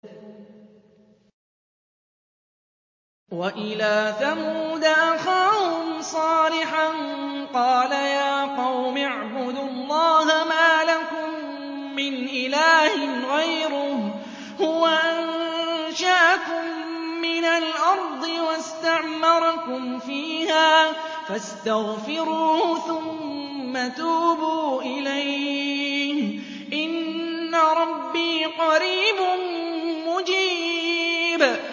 ۞ وَإِلَىٰ ثَمُودَ أَخَاهُمْ صَالِحًا ۚ قَالَ يَا قَوْمِ اعْبُدُوا اللَّهَ مَا لَكُم مِّنْ إِلَٰهٍ غَيْرُهُ ۖ هُوَ أَنشَأَكُم مِّنَ الْأَرْضِ وَاسْتَعْمَرَكُمْ فِيهَا فَاسْتَغْفِرُوهُ ثُمَّ تُوبُوا إِلَيْهِ ۚ إِنَّ رَبِّي قَرِيبٌ مُّجِيبٌ